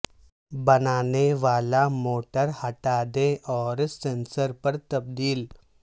بنانے والا موٹر ہٹا دیں اور سینسر پر تبدیل